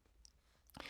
TV 2